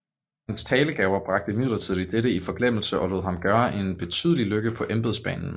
Hans talegaver bragte imidlertid dette i forglemmelse og lod ham gøre en betydelig lykke på embedsbanen